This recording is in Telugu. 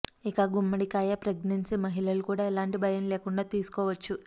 ఇక గుమ్మడి కాయ ప్రెగ్నెన్సీ మహిళలు కూడా ఎలాంటం భయం లేకుండా తీసుకోవచ్చు